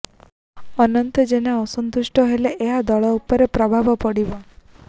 ଅନନ୍ତ ଜେନା ଅସନ୍ତୁଷ୍ଟ ହେଲେ ଏହା ଦଳ ଉପରେ ପ୍ରଭାବ ପଡ଼ିବ